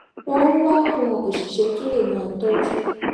wón wá àwọn òṣìṣé tó lè máa tójú